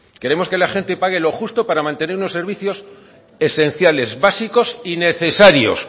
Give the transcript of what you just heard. queremos que la gente pague lo justo para mantener unos servicios esenciales básicos y necesarios